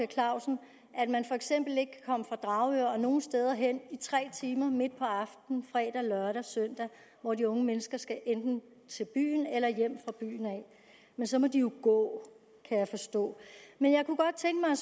clausen at man for eksempel ikke kan komme fra dragør og nogen steder hen i tre timer midt på aftenen fredag lørdag og søndag hvor de unge mennesker enten skal ind til byen eller hjem fra byen men så må de jo gå kan jeg forstå men jeg kunne godt tænke mig